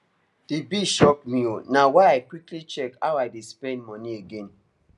the bill shock me o na why i quickly check how i dey spend money again